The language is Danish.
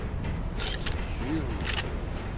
sygehuse